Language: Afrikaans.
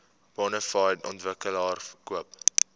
bonafide ontwikkelaar koop